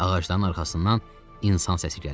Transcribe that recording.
Ağacların arxasından insan səsi gəlirdi.